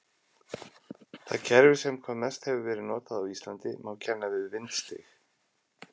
Það kerfi sem hvað mest hefur verið notað á Íslandi má kenna við vindstig.